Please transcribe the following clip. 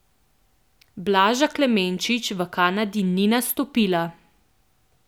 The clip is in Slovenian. Blaža Klemenčič v Kanadi ni nastopila.